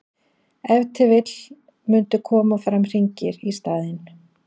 ef til vill mundu koma fram hringir í staðinn